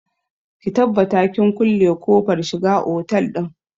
Ki tabbata kin kulle kofar shiga otal ɗin!